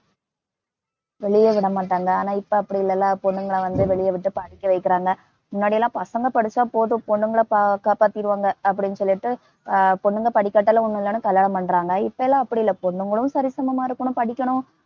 வெளியே விட மாட்டாங்க ஆனா இப்ப அப்படி இல்லல்ல பொண்ணுங்களை வந்து வெளிய விட்டு படிக்க வைக்கிறாங்க, முன்னாடிலாம் பசங்க படிச்சாபோதும். பொண்ணுங்கள ப~ காப்பாத்திருவாங்க, அப்படின்னு சொல்லிட்டு பொண்ணுங்க படிக்காட்டாலும் ஒண்ணும் இல்லைன்னு கல்யாணம் பண்றாங்க இப்பெல்லாம் அப்படியில்லைல பொண்ணுங்களும் சரிசமமா இருக்கணும் படிக்கணும்